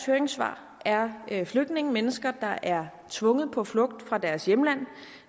høringssvar er flygtninge mennesker der er tvunget på flugt fra deres hjemland